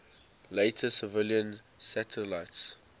later civilian satellites